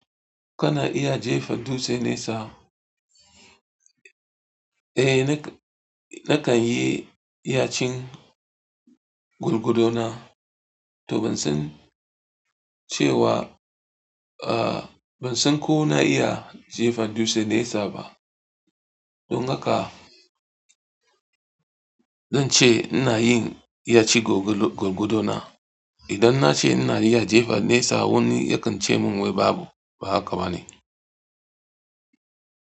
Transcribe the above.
Kana iya jefa dutse nesa? Eh, nakan yi yacin gurgudona to ban san cewa, eh ban san ko na iya jefa dutse nesa ba. Don haka zan ce ina yin yacin gurgudona. Idan na ce ina iya jefa nesa wani yakan ce mun wai babu, ba haka bane.